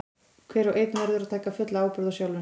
Hver og einn verður að taka fulla ábyrgð á sjálfum sér.